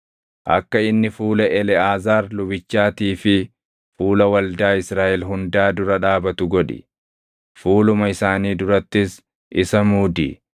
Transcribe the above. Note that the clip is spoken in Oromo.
Akka inni fuula Eleʼaazaar lubichaatii fi fuula waldaa Israaʼel hundaa dura dhaabatu godhi; fuuluma isaanii durattis isa muudi.